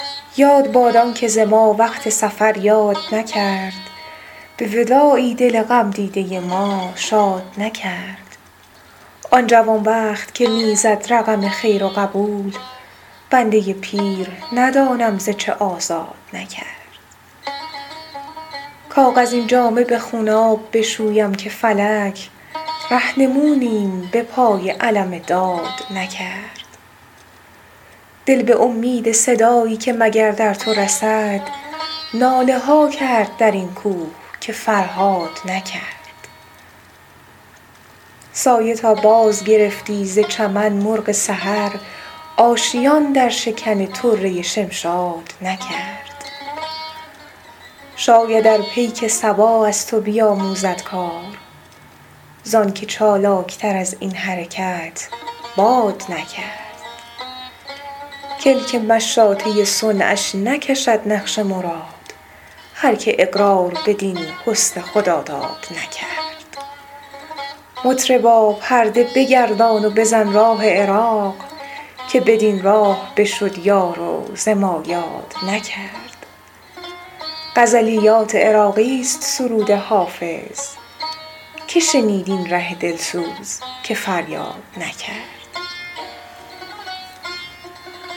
یاد باد آن که ز ما وقت سفر یاد نکرد به وداعی دل غم دیده ما شاد نکرد آن جوان بخت که می زد رقم خیر و قبول بنده پیر ندانم ز چه آزاد نکرد کاغذین جامه به خونآب بشویم که فلک رهنمونیم به پای علم داد نکرد دل به امید صدایی که مگر در تو رسد ناله ها کرد در این کوه که فرهاد نکرد سایه تا بازگرفتی ز چمن مرغ سحر آشیان در شکن طره شمشاد نکرد شاید ار پیک صبا از تو بیاموزد کار زآن که چالاک تر از این حرکت باد نکرد کلک مشاطه صنعش نکشد نقش مراد هر که اقرار بدین حسن خداداد نکرد مطربا پرده بگردان و بزن راه عراق که بدین راه بشد یار و ز ما یاد نکرد غزلیات عراقی ست سرود حافظ که شنید این ره دل سوز که فریاد نکرد